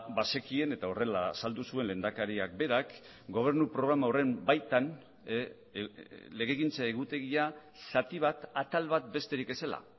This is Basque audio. bazekien eta horrela azaldu zuen lehendakariak berak gobernu programa horren baitan legegintza egutegia zati bat atal bat besterik ez zela